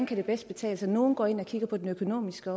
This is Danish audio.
kan betale sig nogle går også ind og kigger på det økonomiske